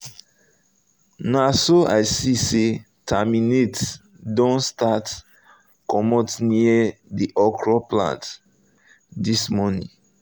naso i see say terminates don start comot near the okro plant this morning